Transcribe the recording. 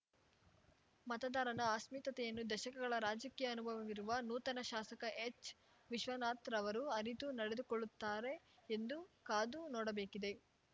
ಮತದಾರನ ಅಸ್ಮಿತತೆಯನ್ನು ದಶಕಗಳ ರಾಜಕೀಯಅನುಭವವಿರುವ ನೂತನ ಶಾಸಕ ಹೆಚ್ವಿಶ್ವನಾಥ್‍ರವರುಅರಿತು ನಡೆದುಕೊಳ್ಳುತ್ತಾರೆ ಎಂದುಕಾದು ನೋಡಬೇಕಿದೆ